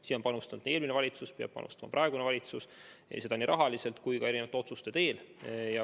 Siia on panustanud eelmine valitsus ja peab panustama praegune valitsus, nii rahaliselt kui ka otsuste teel.